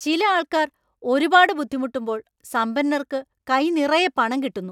ചില ആൾക്കാർ ഒരുപാട് ബുദ്ധിമുട്ടുമ്പോൾ സമ്പന്നർക്ക് കൈ നിറയെ പണം കിട്ടുന്നു.